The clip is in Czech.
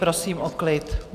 Prosím o klid.